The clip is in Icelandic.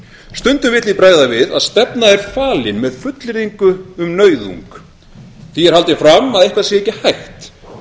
stundum vill því bregða við að stefna er falin með fullyrðingu um nauðung því er haldið fram að eitthvað sé ekki hægt